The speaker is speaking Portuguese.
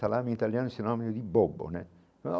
Salame italiano é um sinônimo de bobo, né?